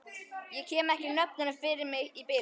Ég kem ekki nöfnunum fyrir mig í bili.